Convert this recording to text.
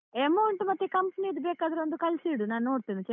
Amount ಮತ್ತೆ company ದು ಬೇಕಾದ್ರೆ ಒಂದು ಕಳ್ಸಿಬಿಡು ನಾನ್ ನೋಡ್ತೇನೆ.